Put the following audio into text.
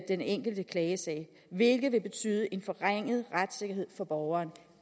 den enkelte klagesag hvilket vil betyde en forringet retssikkerhed for borgeren